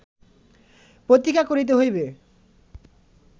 প্রতীক্ষা করিতে হইবে